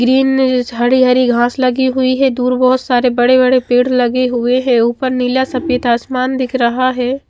Green ने ये हरी हरी घास लगी हुई है दूर बोहोत सारे बड़े बड़े पेड़ लगे हुए है ऊपर नीला सफेद आसमान दिख रहा है।